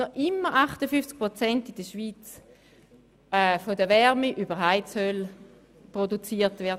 Dort wird festgehalten, dass in der Schweiz noch immer 58 Prozent der Wärme über Heizöl produziert wird.